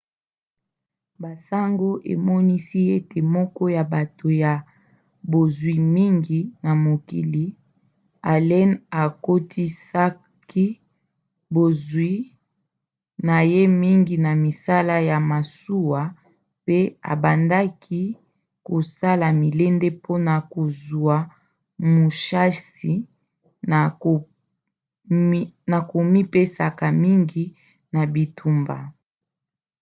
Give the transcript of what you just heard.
basango emonisi ete moko ya bato ya bozwi mingi na mokili allen akotisaki bozwi na ye mingi na misala ya masuwa pe abandaki kosala milende mpona kozwa mushasi na komipesaka mingi na bitumba